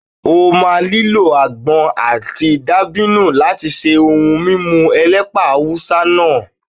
O máa nílò àgbọn àti dàbínù láti ṣe ohun mímu elépà Awúsá náà.